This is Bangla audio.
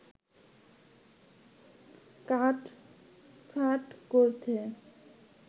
কাট-ছাঁট করছে